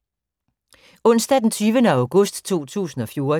Onsdag d. 20. august 2014